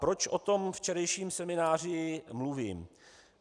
Proč o tom včerejším semináři mluvím?